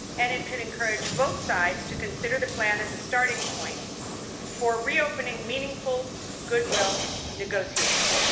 It could encourage both sides to consider the plan as a starting point for reopening meaningful goodwill negotiations.